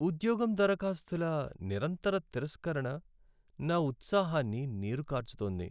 ఉద్యోగం దరఖాస్తుల నిరంతర తిరస్కరణ నా ఉత్సాహాన్ని నీరుకార్చుతోంది.